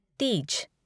Teej